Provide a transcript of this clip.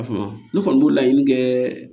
A fama ne kɔni b'o laɲini kɛɛ